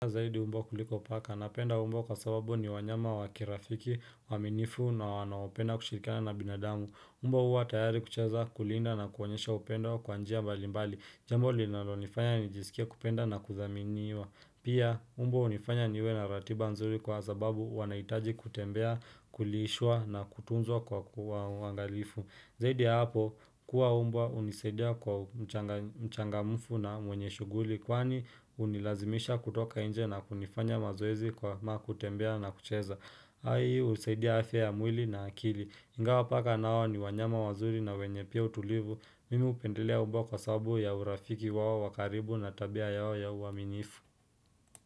Zaidi mbwa kuliko paka napenda mbwa kwa sababu ni wanyama wakirafiki waminifu na wanaopenda kushirikana na binadamu. Mbwa huwa tayari kuchaza kulinda na kuonyesha upendo wa kwanjia balimbali jambo linalonifanya nijisikie kupenda na kuziaminia. Pia, mbwa hunifanya niwe na ratiba nzuri kwa sababu wanahitaji kutembea, kuliishwa na kutunzwa kwa uangalifu. Zaidi hapo, huwa mbwa hunisaidia kuwa mchangamufu na mwenye shughuli kwani hunilazimisha kutoka nje na kunifanya mazoezi kwa makutembea na kucheza. Hii husaidia afya ya mwili na akili. Ingawa paka nao ni wanyama wazuri na wenye pia utulivu. Mimi hupendelea mbwa kwa sababu ya urafiki wao wakaribu na tabia yao ya uaminifu.